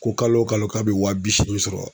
Ko kalo wo kalo k'a be wa bi seegin sɔrɔ.